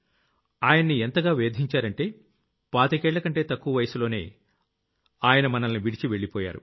ఆయన్ని ఎంతగా వేధించారంటే పాతికేళ్లకంటే తక్కువ వయసులోనే ఆయన మనల్ని విడిచి వెళ్లిపోయారు